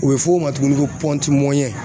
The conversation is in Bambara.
U bɛ f'o ma tuguni ko